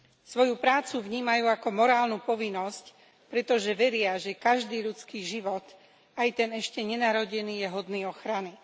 Svoju prácu vnímajú ako morálnu povinnosť, pretože veria, že každý ľudský život, aj ten ešte nenarodený, je hodný ochrany.